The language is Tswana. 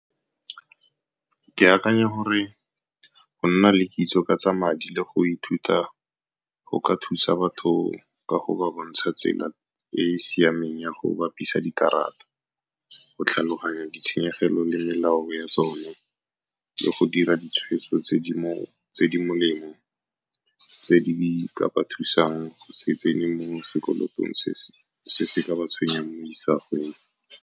Ke akanya gore go nna le kitso ka tsa madi le go ithuta go ka thusa batho ka go ba bontsha tsela e e siameng ya go bapisa dikarata, go tlhaloganya ditshenyegelo le melao ya tsona, le go dira ditshweetso tse di molemo, tse di ka ba thusang go se tsenye mo sekolotong se se ka ba tshwenyang mo isagong.